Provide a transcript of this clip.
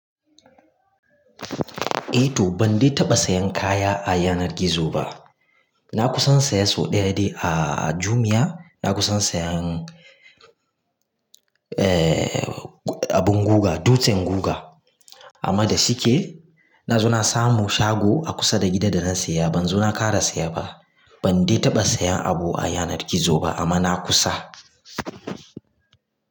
Eh to, ban dai taɓa sayan kaya a yanar gizo ba. Na kusan saya sau ɗaya dai aa, Jumia, na kusan sayan, eh, abin guga, dutsen guga. Amma da shike, na zo na samu shago a kusa da gida da na saya. Ban zo na ƙara saya ba. Ban dai taɓa sayan abu a yanar gizo ba amma na kusa.